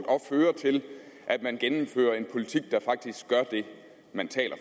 og føre til at man gennemfører en politik der faktisk gør det man taler